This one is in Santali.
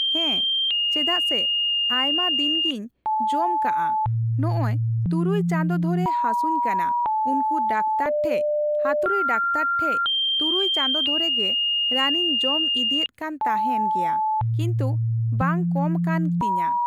ᱦᱮᱸ ᱪᱮᱫᱟᱜ ᱥᱮ ᱟᱭᱢᱟ ᱫᱤᱱ ᱜᱤᱧ ᱡᱚᱢ ᱠᱟᱜᱼᱟ ᱱᱚᱜᱼᱚᱭ ᱛᱩᱨᱩᱭ ᱪᱟᱸᱫᱚ ᱫᱷᱚᱨᱮ ᱦᱟᱹᱥᱩᱧ ᱠᱟᱱᱟ ᱩᱱᱠᱩ ᱰᱟᱠᱛᱟᱨ ᱴᱷᱮᱡ ᱦᱟᱹᱛᱩᱲᱤ ᱰᱟᱠᱛᱟᱨ ᱴᱷᱮᱡ ᱛᱩᱨᱩᱭ ᱪᱟᱸᱫᱚ ᱫᱷᱚᱨᱮ ᱜᱮ ᱨᱟᱱᱤᱧ ᱡᱚᱢ ᱤᱫᱤᱭᱮᱜ ᱠᱟᱱ ᱛᱟᱸᱦᱮᱱ ᱜᱮᱭᱟ ᱠᱤᱱᱛᱩ ᱵᱟᱝ ᱠᱚᱢ ᱠᱟᱱ ᱛᱤᱧᱟ ᱾